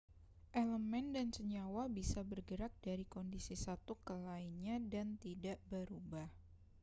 elemen dan senyawa bisa bergerak dari kondisi satu ke lainnya dan tidak berubah